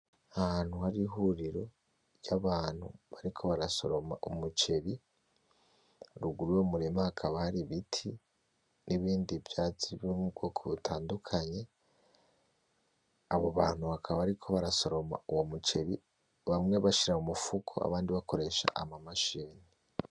Ahantu hari ihuriro ry'abantu bariko barasoroma umuceri ruguru y'umurima hakaba hari ibiti n'ibindi vyatsi biri m'ubwoko butandukanye. Abo bantu bakaba bariko barasoroma uyo muceri bamwe bashira mumufuko abandi bakoresha amamachini.